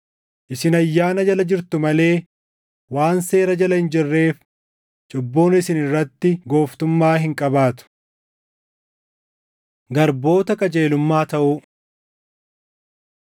Isin ayyaana jala jirtu malee waan seera jala hin jirreef, cubbuun isin irratti gooftummaa hin qabaatu. Garboota Qajeelummaa Taʼuu